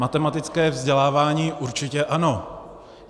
Matematické vzdělávání určitě ano.